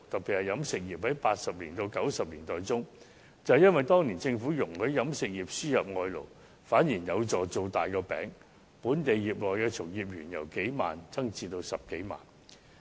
以飲食業為例，在80年代至90年代，由於政府容許飲食業輸入外勞，反而有助"造大個餅"，本地飲食業從業員的人數由數萬人增至10多萬人。